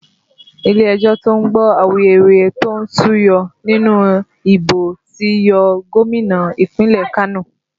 Ilé ẹjọ́ to ń gbọ́ awuyewuye tó súyọ nínú ìbò ti yọ Gómìnà ìpínlẹ̀ Kano